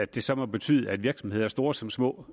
det så måtte betyde at virksomheder store som små